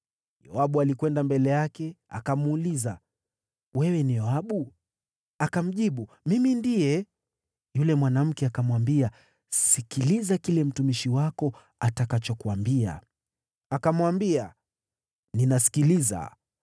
Yoabu alikwenda mbele yake, akamuuliza, “Wewe ni Yoabu?” Akamjibu, “Ndiye mimi.” Yule mwanamke akamwambia, “Sikiliza kile mtumishi wako atakachokuambia.” Akamwambia, “Ninasikiliza.”